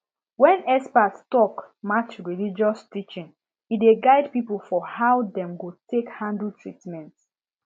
when expert talk match religious teaching e dey guide people for how dem go take handle treatment